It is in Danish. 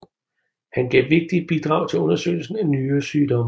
Han gav vigtige bidrag til undersøgelsen af nyresygdomme